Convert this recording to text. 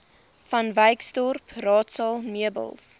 vanwyksdorp raadsaal meubels